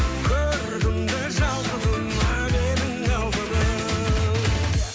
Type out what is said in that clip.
көрдім де шалқыдым менің алтыным